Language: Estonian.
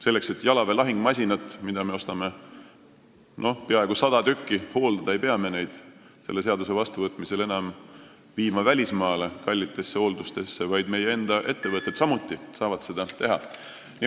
Selleks, et hooldada jalaväe lahingumasinaid, mida me ostame peaaegu sada tükki, ei pea neid enam välismaale kallitesse hooldustesse toimetama, vaid meie enda ettevõtted saavad seda teha.